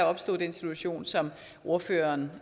opstå den situation som ordføreren